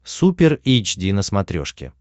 супер эйч ди на смотрешке